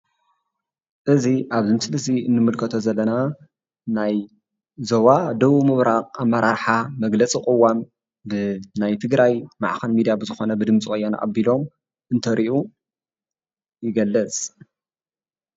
እዚ ኣብዚ ምስሊ እዙይ ንምልከቶ ዘለና ናይ ዞባ ደቡብ ምብራቅ ኣመራርሓ መግለፂ ቑዋም ብናይ ትግራይ ማዕከን ሚድያ ብዝኾነ ብድምፂ ወያነ ኣቢሎም አንተርእዮ ይገልፅ።